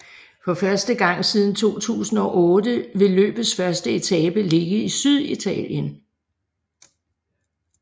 For første gang siden 2008 vil løbets første etape ligge i Syditalien